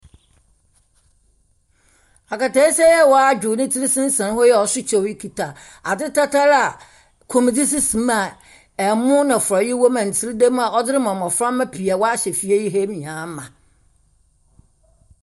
Akɛteesia yi a wadwow netsir sensɛn hɔ yi a ɔso kyɛw yi kita adze tɛtɛr a komdze sisi mu a ɛmo na frɔe, na ntsere damu a wahyɛ fie ha nyinaa ma.